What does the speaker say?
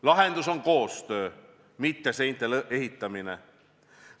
Lahendus on koostöö, mitte seinte ehitamine.